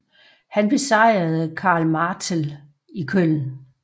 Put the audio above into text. Han besejrede Karl Martell i Köln